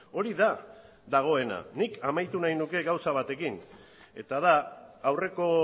hori da dagoena nik amaitu nahi nuke gauza batekin eta da aurreko